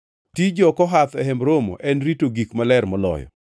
“Tij jo-Kohath e Hemb Romo en rito gik maler moloyo.